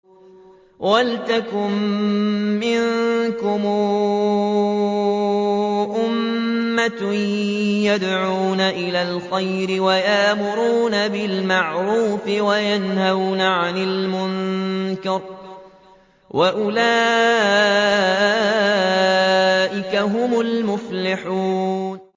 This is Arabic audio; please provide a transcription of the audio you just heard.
وَلْتَكُن مِّنكُمْ أُمَّةٌ يَدْعُونَ إِلَى الْخَيْرِ وَيَأْمُرُونَ بِالْمَعْرُوفِ وَيَنْهَوْنَ عَنِ الْمُنكَرِ ۚ وَأُولَٰئِكَ هُمُ الْمُفْلِحُونَ